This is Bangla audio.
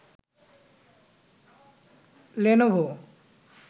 লেনোভো